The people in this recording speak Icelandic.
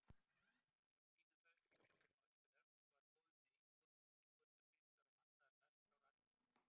Frá Kína, Sovétríkjunum og Austur-Evrópu var komið með íburðarmiklar og vandaðar dagskrár atvinnumanna.